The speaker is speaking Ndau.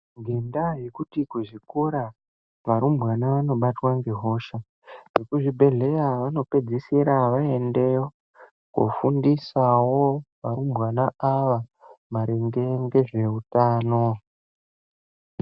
Ngendaa yekuti kuzvikora, varumbwana vanobatwa ngehosha, vekuzvibhedhlera vanopedzisira vaendeyo koofundisawo varumbwana ava maringe ngezveutano.